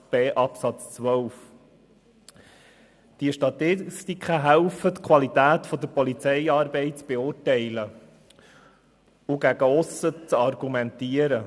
Diese Statistiken helfen dabei, die Qualität der Polizeiarbeit zu beurteilen und gegen aussen zu argumentieren.